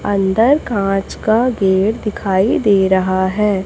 अंदर कांच का गेट दिखाई दे रहा है।